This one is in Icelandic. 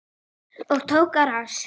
Og tók á rás.